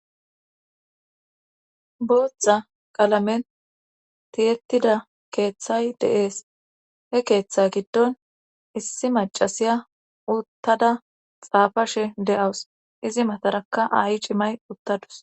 boothta qalamen tiyettida keeththay deees he keeththa giddon issi macasiya uttada xaafashe de7awus izi matarakka a7i cimay uttadus